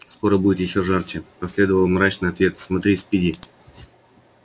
скоро будет ещё жарче последовал мрачный ответ смотри спиди